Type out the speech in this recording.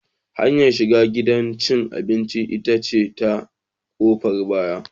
Hanyar shiga gidan cin abinci ita ce ta ƙofar baya.